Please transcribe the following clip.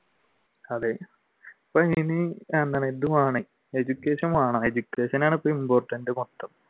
അതെ education വേണം education ആണ് ഇപ്പൊ important